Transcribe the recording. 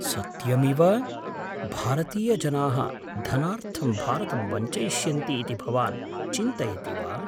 सत्यमिव? भारतीयजनाः धनार्थं भारतं वञ्चयिष्यन्ति इति भवान् चिन्तयति वा?